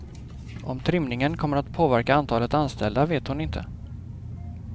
Om trimningen kommer att påverka antalet anställda vet hon inte.